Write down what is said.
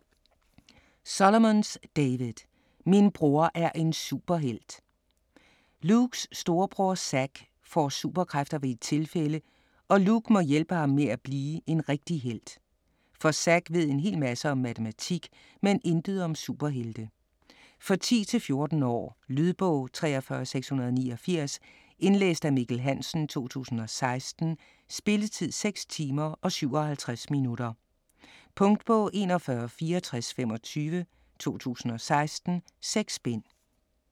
Solomons, David: Min bror er en superhelt Lukes storebror Zack får superkræfter ved et tilfælde, og Luke må hjælpe ham med at blive en rigtig helt. For Zack ved en hel masse om matematik, men intet om superhelte. For 10-14 år. Lydbog 43689 Indlæst af Mikkel Hansen, 2016. Spilletid: 6 timer, 57 minutter. Punktbog 416425 2016. 6 bind.